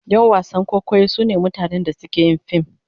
Yan wasan kwaikwayo sune mutanen da suke yin fim..